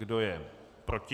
Kdo je proti?